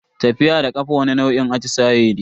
Tafiya da kafa wani nau'in atisaye ne.